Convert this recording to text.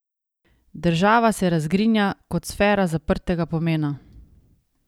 Država se razgrinja kot sfera zaprtega pomena.